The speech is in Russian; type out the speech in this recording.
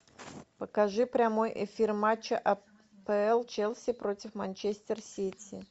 покажи прямой эфир матча апл челси против манчестер сити